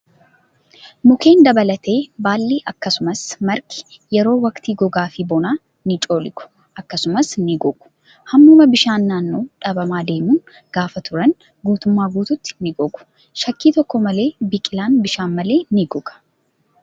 Mukkeen dabalatee baalli akkasumas margi yeroo waqtii gogaa fi bonaa ni coollagu akkasumas ni gogu. Hammuma bishaan naannoo dhabamaa deemuun gaafa turan guutummaatti ni gogu. Shakkii tokko malee biqilaan bishaan malee ni goga.